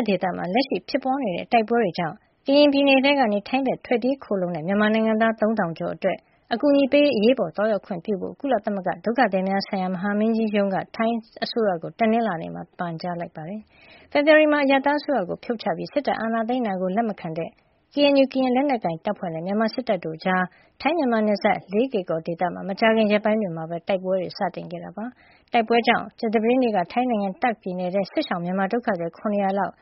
ပ်ဒေသမှာ လက်ရှိဖြစ်ပွါးနေတဲ့ တိုက်ပွဲတွေကြောင့် ကရင်ပြည်နယ်ထဲကနေ ထိုင်းဘက်ကို ထွက်ပြေးခိုလှုံကြတဲ့ မြန်မာနိုင်ငံသား ၃၀၀၀ ကျော်အတွက် အကူအညီတွေပေးရေး အရေးပေါ်သွားရောက်ခွင့်ပြုဖို့ ကုလသမဂ္ဂဒုက္ခသည်များဆိုင်ရာ မဟာမင်းကြီးရုံး UNHCR က ထိုင်းအစိုးရကို တနင်္လာနေ့မှာ ပန်ကြားလိုက်ပါတယ်။ ဖေဖေါ်ဝါရီလမှာ အရပ်သားအစိုးရကို ဖြုတ်ချပြီး စစ်တပ်အာဏာသိမ်းတာကို လက်မခံတဲ့ KNU ကရင်လက်နက်ကိုင်တပ်ဖွဲ့ နဲ့ မြန်မာစစ်တပ် တို့ကြား ထိုင်းမြန်မာနယ်စပ် လေးကေကော်ဒေသမှာ မကြာခင်ရက်ပိုင်းမှာပဲ တိုက်ပွဲတွေ စတင်ခဲ့တာပါ။ တိုက်ပွဲတွေကြောင့် ကြာသပတေးနေ့က ထိုင်းနိုင်ငံ တာခ့် ပြည်နယ်ထဲကို စစ်ရှောင် မြန်မာဒုက္ခသည် ၇၀၀ လောက်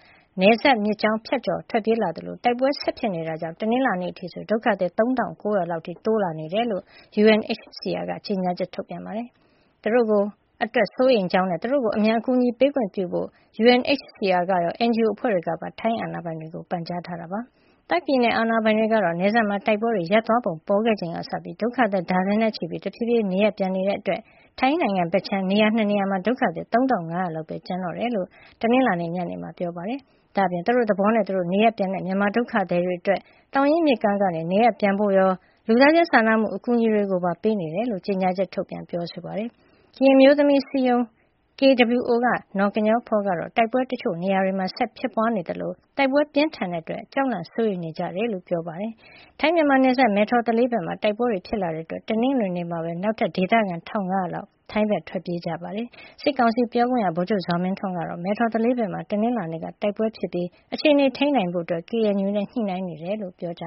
နယ်စပ်မြစ်ကြောင်းကို ဖြတ်ကျော် ထွက်ပြေးလာသလို တိုက်ပွဲဆက်ဖြစ်နေတဲ့အတွက် တနင်္လာနေ့မှာအထိဆို ဒုက္ခသည်က ၃၉၀၀ လောက် အထိ တိုးလာနေတယ်လို့ UNHCR က ကြေညာချက် ထုတ်ပြန်ပြောဆိုပါတယ်။ ဒီဒုက္ခသည်တွေ အတွက် UNHCR က စိုးရိမ်ကြောင်းနဲ့ သူတို့ကို အမြန် အကူညီပေးခွင့်ပြုဖို့ UNHCR ကရော NGO အဖွဲ့တွေကပါ ထိုင်းအာဏာပိုင်တွေကို ပန်ကြားခဲ့တယ်လို့လည်း ဖေါ်ပြထားပါတယ်။ တာခ် ပြည်နယ်အာဏာပိုင်တွေကတော့ နယ်စပ်မှာ တိုက်ပွဲတွေရပ်သွားပုံ ပေါ်ခဲ့ချိန်ကစပြီး ဒုက္ခသည် ဒါဇင်နဲ့ချီပြီး တဖြေးဖြေး နေရပ်ပြန်နေကြတာကြောင့် ထိုင်းနိုင်ငံဘက်ခြမ်းက နေရာ ၂ နေရာမှာ ဒုက္ခသည် ၃၅၀၀ လောက်ပဲ ကျန်တော့တယ်လို့ တနင်္လာနေ့ ညနေပိုင်းမှာ ပြောပါတယ်။ ဒါ့အပြင် သူတို့သဘောနဲ့သူတို့ နေရပ်ပြန်တဲ့ မြန်မာဒုက္ခသည်တွေအတွက် သောင်ရင်းမြစ်ကမ်းကနေ နေရပ်ပြန်ဖို့ရော လူသားချင်းစာနာမှု အကူညီတွေပါ ပေးနေကြောင်း ကြေညာချက်ထုတ်ပြန်ခဲ့ပါတယ်။ ကရင်အမျိုးသမီးအစည်းအရုံး KWO က နော်ကညောဖော ကတော့ တိုက်ပွဲတွေ တချို့နေရာတွေမှာ ဆက်လက်ဖြစ်ပွါးနေသလို တိုက်ပွဲပြင်းထန်တဲ့အတွက် အများစုက ကြောက်လန့်စိုးရိမ်နေကြ ကြောင်းပြောတယ်လို့ AFP မှာ ဖေါ်ပြထားပါတယ်။ ထိုင်းမြန်မာနယ်စပ် မယ်ထော်သလေးဘက်မှာလည်း တိုက်ပွဲတွေ ဖြစ်လာတဲ့အတွက် တနင်္ဂနွေနေ့မှာပဲ နောက်ထပ် ဒေသခံ ၁၅၀၀ လောက် ထိုင်းဘက် ထွက်ပြေးခိုလှုံခဲ့ကြတာပါ။ စစ်ကောင်စီပြောခွင့်ရ ဗိုလ်ချုပ်ဇော်မင်းထွန်းကတော့ မယ်ထော်သလေးဘက်မှာ တနင်္လာနေ့က တိုက်ပွဲဖြစ်ခဲ့ပြီး အခြေနေကိုထိန်းနိုင်ဖို့ KNU နဲ့ ညှိနှိုင်းနေတယ်လို့ ပြောကြ